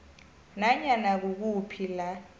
nanyana kukuphi la